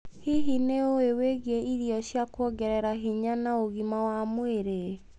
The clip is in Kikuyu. Hihi, nĩ ũĩ wĩgie irio cia kuongerera hinya na ũgima wa mwĩrĩ?